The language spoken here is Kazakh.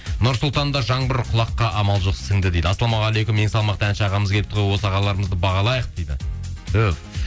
нұр сұлтанда жаңбыр құлаққа амал жоқ сіңді дейді ассалаумағалейкум ең салмақты ән ағамыз келіпті ғой осы ағаларымызды бағалайық дейді түһ